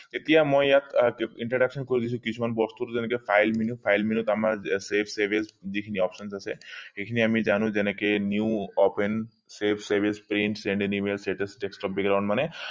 এতিয়া মই ইয়াক আহ introduction কৰি দিছো কিছুমান বস্তু যেনেকে file menu file menu ত আমাৰ save save as যি খিনি options আছে সেই খিনি আমি জানো যে যেনেকে new open save save as paint মানে